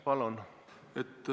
Palun!